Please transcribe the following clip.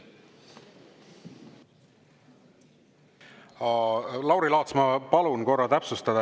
Lauri Laats, ma palun korra täpsustada.